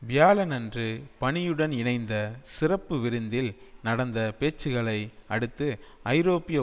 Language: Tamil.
வியாழனன்று பணியுடன் இணைந்த சிறப்பு விருந்தில் நடந்த பேச்சுக்களை அடுத்து ஐரோப்பிய